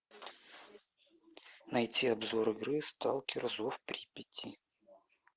найти обзор игры сталкер зов припяти